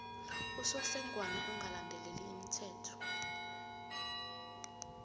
usofengwana ongalandeli imithetho